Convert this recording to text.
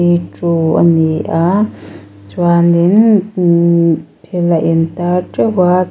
v two a ni a chuanin umhh thil a intar teuh a.